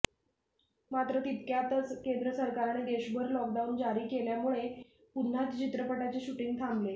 मात्र तितक्यातच केंद्र सरकारने देशभर लॉकडाऊन जारी केल्यामुळे पुन्हा चित्रपटाचे शुटिंग थांबले